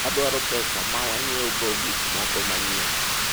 wadwaro pesa ma wanyiewo go gikmoko manyien